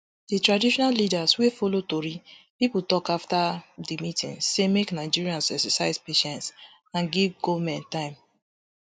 di traditional leaders wey follow tori pipo tok afta di meeting say make nigerians exercise patience and give goment time